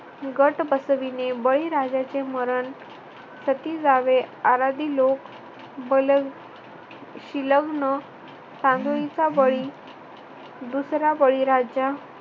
गट बसविणे, बळीराजाचे मरण, सती जावे, आराधी लोग, बलशील लग्न, सानोईचा बळी, दुसरा बळीराजा